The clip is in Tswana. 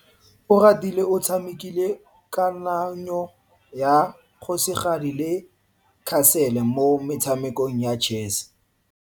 Oratile o tshamekile kananyo ya kgosigadi le khasele mo motshamekong wa chess.